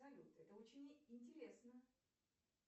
салют это очень интересно